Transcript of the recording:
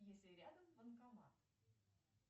есть ли рядом банкомат